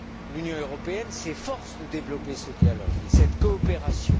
L'Union européenne s'efforce de développer ces dialogues et cette coopération.